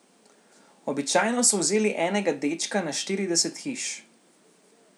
Običajno so vzeli enega dečka na štirideset hiš.